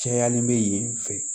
Cayalen bɛ yen fɛ